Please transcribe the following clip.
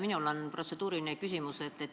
Minul on protseduuriline küsimus.